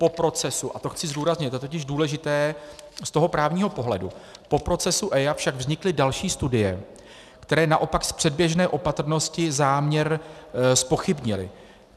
Po procesu, a to chci zdůraznit, to je totiž důležité z toho právního pohledu, po procesu EIA však vznikly další studie, které naopak z předběžné opatrnosti záměr zpochybnily.